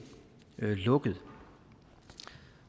lukket